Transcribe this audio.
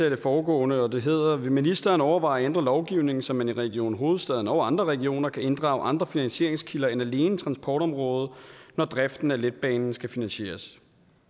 af det foregående og det hedder vil ministeren overveje at ændre lovgivningen så man i region hovedstaden og andre regioner kan inddrage andre finansieringskilder end alene transportområdet når driften af letbanen skal finansieres